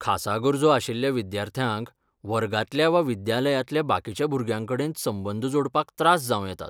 खासा गरजो आशिल्ल्या विद्यार्थ्यांक वर्गांतल्या वा विद्यालयांतल्या बाकीच्या भुरग्यांकडेन संबंद जोडपाक त्रास जांव येतात .